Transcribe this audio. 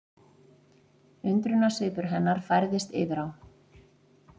Undrunarsvipur hennar færðist yfir á